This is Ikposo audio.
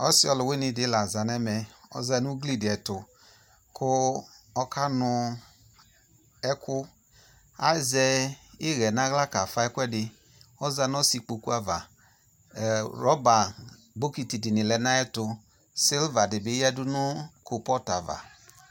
ɔsi ɔlʋwini di la za nu ɛmɛ ɔza nu ugli di ɛtʋ ku ɔkanu ɛku azɛ iyɛ nʋ ala ka ƒa ɛkuɛdi ɔza nu ɔsi kpokʋ aɣa ɛ rubber bokiti di lɛ nʋ ayɛtʋ silver di bi yɛdʋ nu koalpɔt aɣa